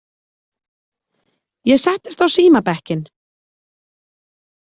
Ég settist á símabekkinn.